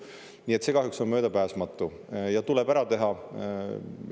Nii et see kahjuks on möödapääsmatu ja tuleb ära teha.